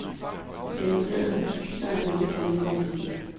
Det møblerede hus viser, at han ikke er kommet for at blive.